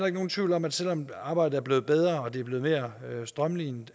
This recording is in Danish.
ikke nogen tvivl om at selv om arbejdet er blevet bedre og det er blevet mere strømlinet